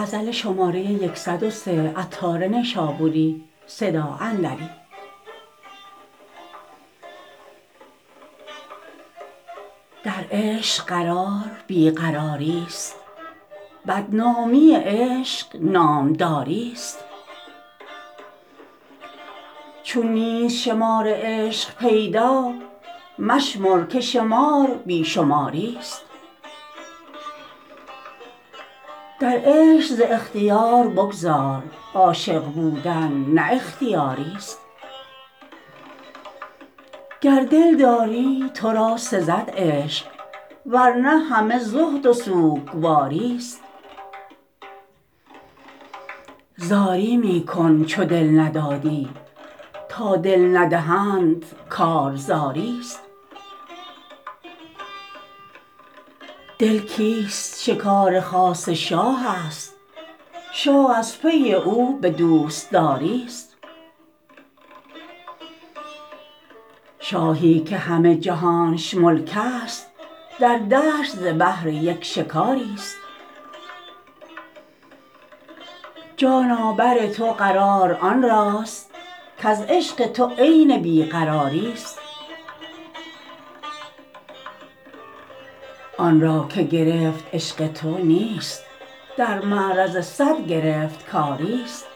در عشق قرار بی قراری است بدنامی عشق نام داری است چون نیست شمار عشق پیدا مشمر که شمار بی شماری است در عشق ز اختیار بگذر عاشق بودن نه اختیاری است گر دل داری تو را سزد عشق ورنه همه زهد و سوگواری است زاری می کن چو دل نداری تا دل ندهند کار زاری است دل کیست شکار خاص شاه است شاه از پی او به دوستداری است شاهی که همه جهانش ملک است در دشت ز بهر یک شکاری است جانا بر تو قرار آن راست کز عشق تو عین بی قراری است آن را که گرفت عشق تو نیست در معرض صد گرفتکاری است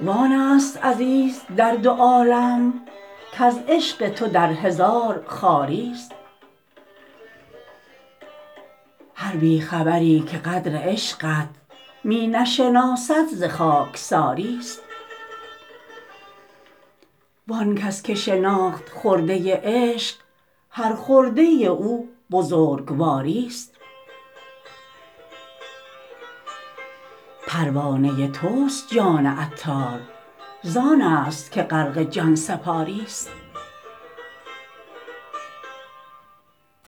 وآن است عزیز در دو عالم کز عشق تو در هزار خواری است هر بی خبری که قدر عشقت می نشناسد ز خاکساری است وآن کس که شناخت خرده عشق هر خرده او بزرگواری است پروانه توست جان عطار زآن است که غرق جان سپاری است